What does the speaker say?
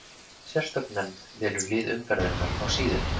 Sérstök nefnd velur lið umferðarinnar á síðunni.